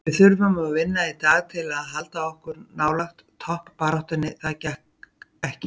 Við þurftum að vinna í dag til að halda okkur nálægt toppbaráttunni, það gekk ekki.